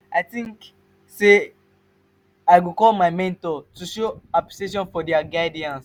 i dey think say i go call my mentor to show appreciation for dia guidance.